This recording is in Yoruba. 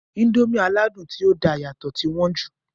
Índòmí aládùn ti o da yàtọ̀ ti wọn jù.